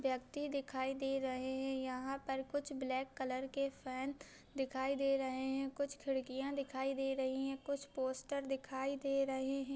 व्यक्ति दिखाई दे रहे हैं यहाँ पर कुछ ब्लैक कलर के फेन दिखाई दे रहे हैं कुछ खिड़कियाँ दिखाई दे रही है कुछ पोस्टर दिखाई दे रहे है।